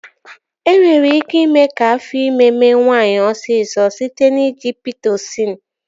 E nwere ike ime ka afọ ime mee nwaanyị osisọ site n'iji Pitosịn